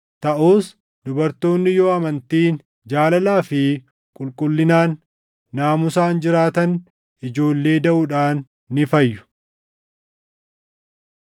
Taʼus dubartoonni yoo amantiin, jaalalaa fi qulqullinaan, naamusaan jiraatan ijoollee daʼuudhaan ni fayyu.